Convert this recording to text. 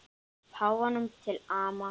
Páfanum til ama.